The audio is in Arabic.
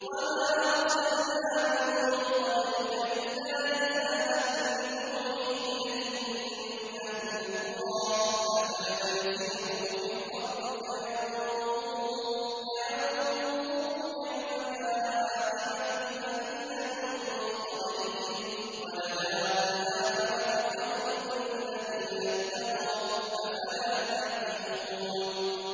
وَمَا أَرْسَلْنَا مِن قَبْلِكَ إِلَّا رِجَالًا نُّوحِي إِلَيْهِم مِّنْ أَهْلِ الْقُرَىٰ ۗ أَفَلَمْ يَسِيرُوا فِي الْأَرْضِ فَيَنظُرُوا كَيْفَ كَانَ عَاقِبَةُ الَّذِينَ مِن قَبْلِهِمْ ۗ وَلَدَارُ الْآخِرَةِ خَيْرٌ لِّلَّذِينَ اتَّقَوْا ۗ أَفَلَا تَعْقِلُونَ